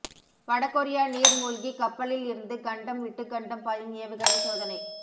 வட கொரியா நீர் மூழ்கி கப்பலில் இருந்து கண்டம் விட்டு கண்டம் பாயும் ஏவுகணை சோதனை